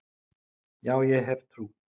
Já, ég hef trú.